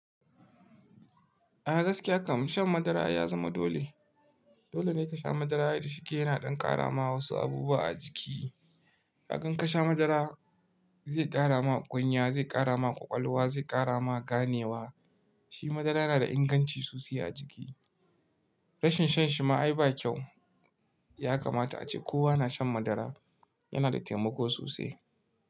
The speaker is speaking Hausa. A gaskiya kam shan madara ya zama dole. Dole ne ka sha madara da shike yana ɗan ƙara ma wasu abubuwa a jiki. Kag in ka sha madara zai ƙara ma kunya, zai ƙara ma ƙwaƙwalwa, zai ƙara ma ganewa. Shi madara yana da inganci sosai a jiki. Rashin shan shi ma ai ba kyau. Ya kamata ace kowa na shan madara, yana da taimako sosai.